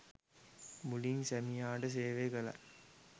මුලින් සැමියාට සේවය කළත්